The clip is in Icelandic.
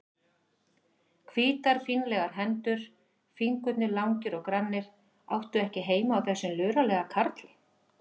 Hvítar fínlegar hendur, fingurnir langir og grannir, áttu ekki heima á þessum luralega karli.